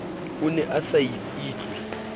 o ne a sa itlwe